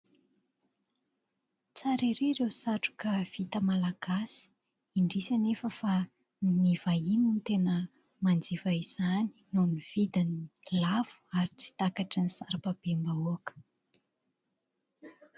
Tsara ery ireo satroka vita malagasy. Indrisy anefa fa ny vahiny no tena manjifa izany noho ny vidiny lafo ary tsy takatry ny sarababem-bahoaka.